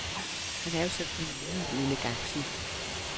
Han er jo sådan en nydelig elegantier.